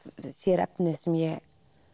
sér efnið sem ég